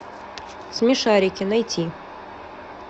смешарики найти